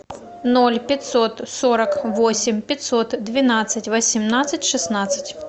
ноль пятьсот сорок восемь пятьсот двенадцать восемнадцать шестнадцать